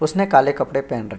उसने काले कपड़े पहेन रख --